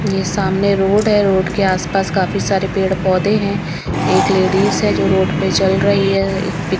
ये सामने रोड है रोड के आसपास काफी सारे पेड़ पौधे हैं एक लेडिज है जो रोड पे चल रही है एक--